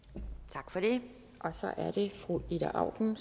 tak for det og så er det fru ida auken